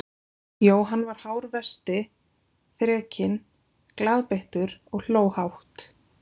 Jóhann var hár vesti, þrekinn, glaðbeittur og hló hátt.